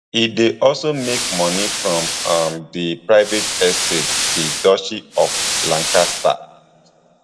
e dey also make money from um di private estate di duchy of lancaster